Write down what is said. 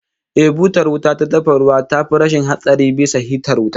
Eh, butar wuta ta dafa ruwa tafi rashin hatsari bisa hitar wuta